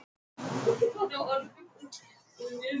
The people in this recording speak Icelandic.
Ég rauk í sturtu á methraða.